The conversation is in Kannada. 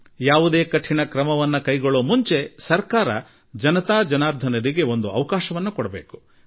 ಸರ್ಕಾರ ಯಾವುದೇ ಕಠಿಣ ಕ್ರಮ ಕೈಗೊಳ್ಳುವುದಕ್ಕೆ ಮುಂಚೆ ಜನರಿಗೆ ಒಂದು ಅವಕಾಶ ಕೊಡಬೇಕಾಗಿದೆ